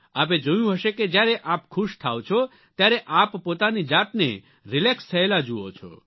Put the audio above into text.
આપે જોયું હશે કે જ્યારે આપ ખુશ થાઓ છો ત્યારે આપ પોતાની જાતને રિલેક્સ થયેલા જુઓ છો